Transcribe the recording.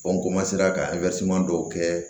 ka dɔw kɛ